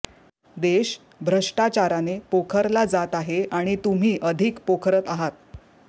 देश भ्रष्टाचाराने पोखरला जात आहे आणि तुम्ही अधिक पोखरत आहात